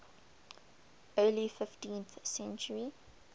early fifteenth century